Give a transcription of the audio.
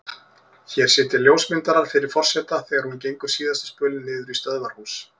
Hér sitja ljósmyndarar fyrir forseta þegar hún gengur síðasta spölinn niður í stöðvarhús.